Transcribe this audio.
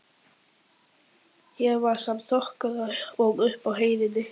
Hér var sama þokan og uppi á heiðinni.